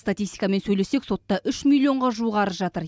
статистикамен сөйлесек сотта үш миллионға жуық арыз жатыр